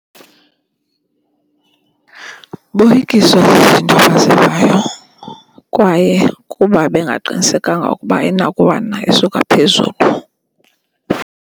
Boyikiswa zizinto abazivayo kwaye kuba bengaqinisekanga ukuba ayinakuwa na isuka phezulu.